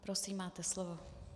Prosím, máte slovo.